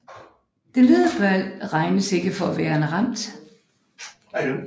Denne hvide bal regnes ikke for værende ramt